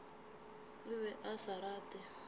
o be a sa rate